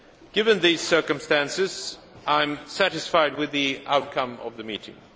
Given these circumstances, I am satisfied with the outcome of the meeting.